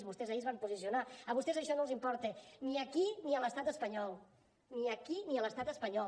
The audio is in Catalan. vostès ahir es van posicionar a vostès això no els importa ni aquí ni a l’estat espanyol ni aquí ni a l’estat espanyol